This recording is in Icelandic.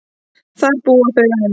Þar búa þau enn.